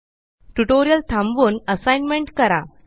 tutorial थांबवून assignment करा